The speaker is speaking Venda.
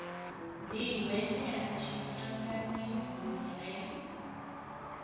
ḓi hwenyela tshiṱangani hu re